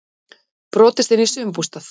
Brotist inn í sumarbústað